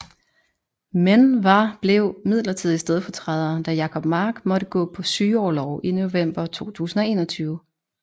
Men var blev midlertidig stedfortræder da Jacob Mark måtte gå på sygeorlov i november 2021